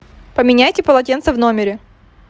поменяйте полотенца в номере